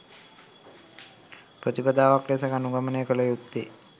ප්‍රතිපදාවක් ලෙස අනුගමනය කළ යුත්තේ